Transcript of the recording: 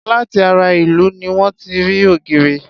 Láti ara irú ni wón ti rí ògìrì.